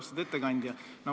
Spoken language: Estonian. Austatud ettekandja!